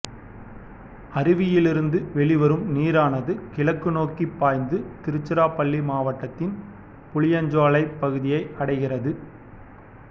அருவியிலிருந்து வெளிவரும் நீரானது கிழக்கு நோக்கி பாய்ந்து திருச்சிராப்பள்ளி மாவட்டத்தின் புளியஞ்சோலைப் பகுதியை அடைகிறது